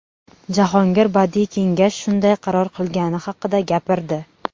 Jahongir badiiy kengash shunday qaror qilgani haqida gapirdi.